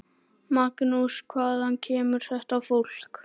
Magnús: Hvaðan kemur þetta fólk?